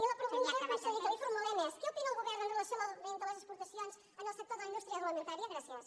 i la pregunta conseller que li formulem és què opina el govern amb relació a l’augment de les exportacions en el sector de la indústria agroalimentària gràcies